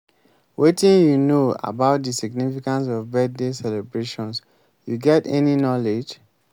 wetin you know about di significance of birthday celebrations you get any knowledge?